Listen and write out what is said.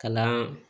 Kalan